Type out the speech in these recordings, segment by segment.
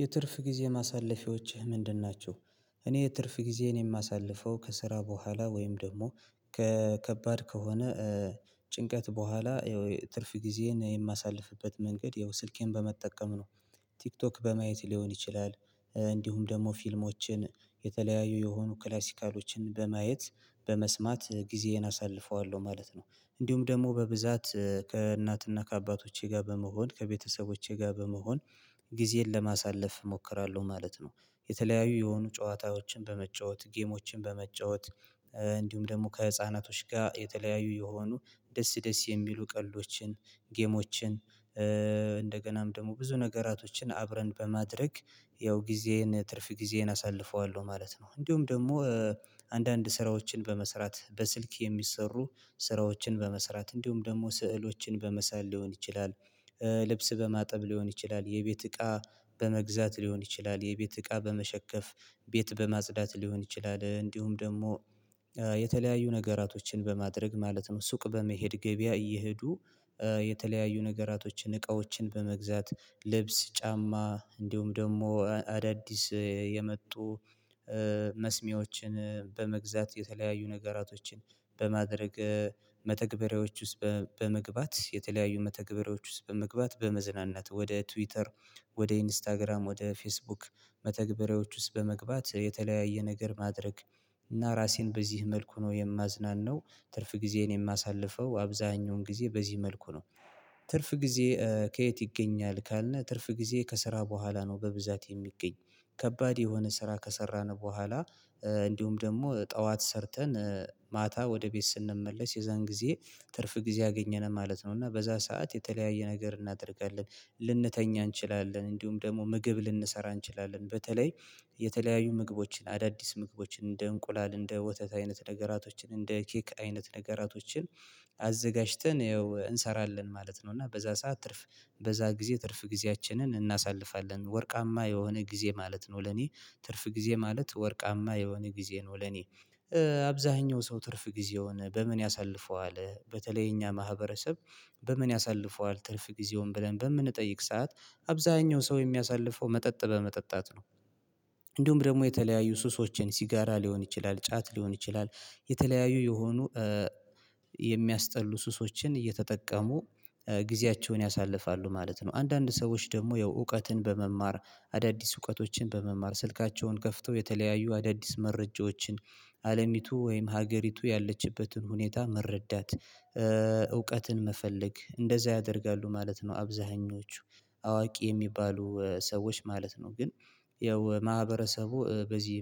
የትርፍ ጊዜ ማሳለፊያዎችህ ምንድን ናቸው? እኔ የትርፍ ጊዜዬን የማሳልፈው ከስራ በኋላ ወይም ደግሞ ከከባድ ከሆነ ጭንቀት በኋላ ያው ትርፍ ጊዜዬን የማሳልፍበት መንገድ ያው ስልኬን በመጠቀም ነው ቲክቶክ በማየት ሊሆን ይችላል እንዲሁም ደግሞ ፊልሞችን የተለያዩ የሆኑ ክላሲካሎችን በማየት በመስማት ጊዜዬን አሳልፈዋለሁ ማለት ነው እንዲሁም ደግሞ በብዛት ከእናትና ከአባቶቼ ጋር በመሆን ከቤተሰቦቼ ጋር በመሆን ጊዜን ለማሳለፍ እሞክራለሁ ማለት ነው የተለያዩ የሆኑ ጨዋታዎችን በመጫወት ጌሞችን በመጫወት እንዲሁም ደግሞ ከህፃናቶች ጋር የተለያዩ የሆኑ ደስ ደስ የሚሉ ቀልዶችን ጌሞችን እንደገናም ደግሞ ብዙ ነገራቶችን አብረን በማድረግ ያው ጊዜዬን ትርፍ ጊዜዬን አሳልፈዋለሁ ማለት ነው እንዲሁ ደግሞ አንዳንድ ስራዎችን በመስራት በስልክ የሚሰሩ ስራዎችን በመስራት እንዲሁም ደግሞ ስዕሎችን በመሳል ሊሆን ይችላል ልብስ በማጠብ ሊሆን ይችላል የቤት እቃ በመግዛት ሊሆን ይችላል የቤት እቃ በመሸከፍ ቤት በማጽዳት ሊሆን ይችላል እንዲሁም ደግሞ የተለያዩ ነገራቶችን በማድረግ ማለት ነው ሱቅ በመሄድ ገበያ እየሄዱ የተለያዩ ነገራቶችን እቃዎችን በመግዛት ልብስ ጫማ እንዲሁም ደግሞ አዳዲስ የመጡ መስሚዎችን በመግዛት የተለያዩ ነገራቶችን በማድረግ መተግበሪያዎች ውስጥ በመግባት የተለያዩ መተግበሪያዎች ውስጥ በመግባት በመዝናናት ወደ ትዊተር ወደ ኢንስታግራም ወደ ፌስቡክ መተግበሪያዎች ውስጥ በመግባት የተለያየ ነገር ማድረግ እና ራሴን በዚህ መልኩ ነው የማዝናነው ትርፍ ጊዜዬን የማሳልፈው አብዛኛውን ጊዜ በዚህ መልኩ ነው ትርፍ ጊዜ ከየት ይገኛል ካልን ትርፍ ጊዜ ከስራ በኋላ ነው በብዛት የሚገኝ ከባድ የሆነ ስራ ከሰራን በኋላ እንዲሁም ደግሞ ጠዋት ሰርተን ማታ ወደ ቤት ስንመለስ የዛን ጊዜ ትርፍ ጊዜ አገኘን ማለት ነው እና በዛ ሰዓት የተለያየ ነገር እናደርጋለን ልንተኛ እንችላለን እንዲሁም ደግሞ ምግብ ልንሰራ እንችላለን በተለይ የተለያዩ ምግቦችን አዳዲስ ምግቦችን እንደ እንቁላል እንደ ወተት አይነት ነገራቶችን እንደ ኬክ አይነት ነገራቶችን አዘጋጅተን እንሰራለን ማለት ነው እና በዛ ሰዓት ትርፍ በዛ ጊዜ ትርፍ ጊዜያችንን እናሳልፋለን ወርቃማ የሆነ ጊዜ ማለት ነው ለኔ ትርፍ ጊዜ ማለት ወርቃማ የሆነ ጊዜ ነው ለኔ አብዛኛው ሰው ትርፍ ጊዜ የሆነ በምን ያሳልፈዋል በተለይ እኛ ማህበረሰብ በምን ያሳልፈዋል ትርፍ ጊዜውን ብለን በምንጠይቅ ሰዓት አብዛኛው ሰው የሚያሳልፈው መጠጥ በመጠጣት ነው እንዲሁም ደግሞ የተለያዩ ሱሶችን ሲጋራ ሊሆን ይችላል ጫት ሊሆን ይችላል የተለያዩ የሆኑ የሚያስጠሉ ሱሶችን እየተጠቀሙ ጊዜያቸውን ያሳልፋሉ ማለት ነው አንዳንድ ሰዎች ደግሞ ያው እውቀትን በመማር አዳዲስ እውቀቶችን በመማር ስልካቸውን ከፍተው የተለያዩ አዳዲስ መረጃዎችን አለሚቱ ወይም ሀገሪቱ ያለችበትን ሁኔታ መረዳት እውቀትን መፈለግ እንደዛ ያደርጋሉ ማለት ነው አብዛኞቹ አዋቂ የሚባሉ ሰዎች ማለት ነው ግን ያው ማህበረሰቡ በዚህ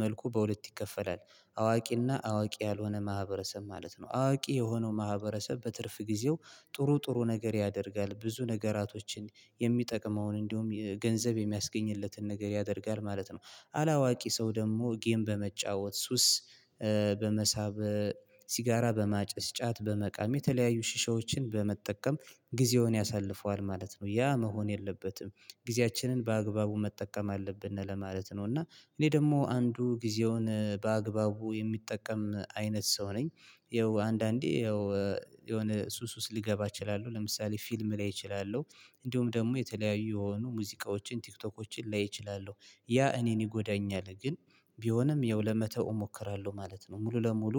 መልኩ በሁለት ይከፈላል አዋቂና አዋቂ ያልሆነ ማህበረሰብ ማለት ነው አዋቂ የሆነው ማህበረሰብ በትርፍ ጊዜው ጥሩ ጥሩ ነገር ያደርጋል ብዙ ነገራቶችን የሚጠቅመውን እንዲሁም ገንዘብ የሚያስገኝለትን ነገር ያደርጋል ማለት ነው አላዋቂ ሰው ደግሞ ጌም በመጫወት ሱስ በመሳብ ሲጋራ በማጨስ ጫት በመቃሚ የተለያዩ ሺሻዎችን በመጠቀም ጊዜውን ያሳልፈዋል ማለት ነው ያ መሆን የለበትም ጊዜያችንን በአግባቡ መጠቀም አለብን ለማለት ነው እና እኔ ደግሞ አንዱ ጊዜውን በአግባቡ የሚጠቀም አይነት ሰው ነኝ ይኸው አንዳንዴ ይኸው የሆነ ሱስ ውስጥ ልገባ እችላለሁ ለምሳሌ ፊልም ላይ እችላለሁ እንዲሁም ደግሞ የተለያዩ የሆኑ ሙዚቃዎችን ቲክቶኮችን ላይ እችላለሁ ያ እኔን ይጎዳኛል ግን ቢሆንም ያው ለመተው እሞክራለሁ ማለት ነው ሙሉ ለሙሉ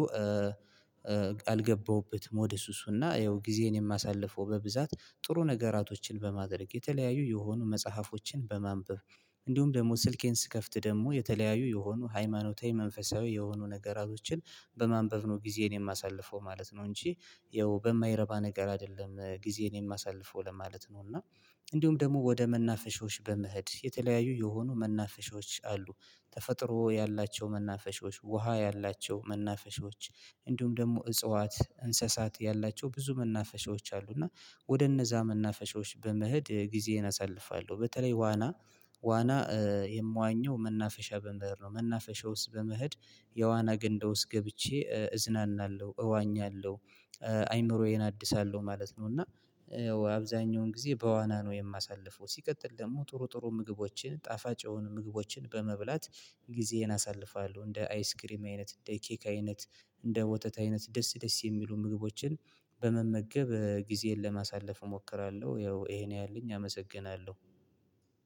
አልገባሁበትም ወደ ሱሱ እና ያው ጊዜዬን የማሳልፈው በብዛት ጥሩ ነገራቶችን በማድረግ የተለያዩ የሆኑ መጽሐፎችን በማንበብ እንዲሁም ደግሞ ስልኬን ስከፍት ደግሞ የተለያዩ የሆኑ ሃይማኖታዊ መንፈሳዊ የሆኑ ነገራቶችን በማንበብ ነው ጊዜን የማሳልፈው ማለት ነው እንጂ ያው በማይረባ ነገር አይደለም ጊዜን የማሳልፈው ለማለት ነው እና እንዲሁም ደግሞ ወደ መናፈሻዎች በመሄድ የተለያዩ የሆኑ መናፈሻዎች አሉ ተፈጥሮ ያላቸው መናፈሻዎች ውሃ ያላቸው መናፈሻዎች እንዲሁም ደግሞ እጽዋት እንስሳት ያላቸው ብዙ መናፈሻዎች አሉ እና ወደ እነዛ መናፈሻዎች በመሄድ ጊዜን አሳልፋለሁ በተለይ ዋና ዋና የምዋኘው መናፈሻ በመሄድ ነው መናፈሻ ውስጥ በመሄድ የዋና ገንዳ ውስጥ ገብቼ እዝናናለሁ እዋኛለሁ አይምሮዬን አድሳለሁ ማለት ነው እና አብዛኛውን ጊዜ በዋና ነው የማሳልፈው ሲቀጥል ደግሞ ጥሩ ጥሩ ምግቦችን ጣፋጭ የሆኑ ምግቦችን በመብላት ጊዜን አሳልፋለሁ እንደ አይስክሪም አይነት እንደ ይኬክ አይነት እንደ ወተት አይነት ደስ ደስ የሚሉ ምግቦችን በመመገብ ጊዜን ለማሳለፍ እሞክራለሁ ያው ይሄ ነው ያለኝ አመሰግናለሁ